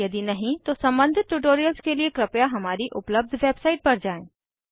यदि नहीं तो सम्बंधित ट्यूटोरियल्स के लिए हमारी उपलब्ध वेबसाइट पर जाएँ